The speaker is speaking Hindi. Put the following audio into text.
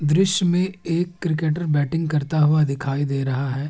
दॄश्य में एक क्रिकेटर बैटिंग करता हुआ दिखाई दे रहा है।